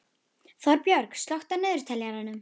Þorbjörg, slökktu á niðurteljaranum.